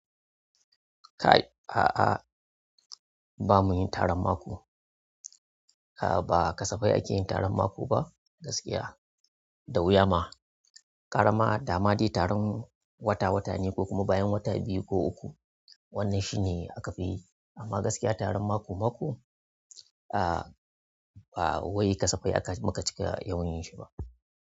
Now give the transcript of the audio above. Kai, a'a ba muyin taron mako. A'a ba kasafai ake yin taron mako ba gaskiya, da wuya ma. Gararama dama dai taron wata watanni ko kuma bayan wata biyu ko uku. Wannan shine aka fi yi amma gaskiya taron mako mako, a'a ba wai kasafai aka muka cika yawan yin shi ba.